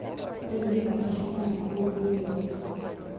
riu ni thaa cĩĩgana kũũ new york